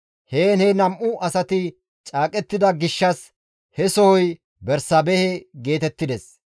Heen he nam7u asati caaqettida gishshas he sohoy Bersaabehe geetettides.